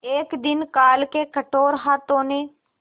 एक दिन काल के कठोर हाथों ने